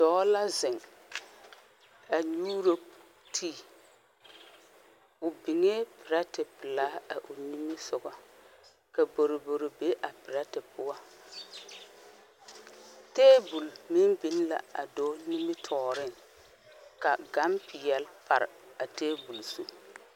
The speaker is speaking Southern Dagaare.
Doɔ la zeng a nyuuro tee ɔ bingee pɛretɛ pelaa ɔ nimisɔgɔ ka boroboro be a pɛretɛ pou tabol meng bing la a doɔ nimitoɔring ka gang peeli pare a tabol zu.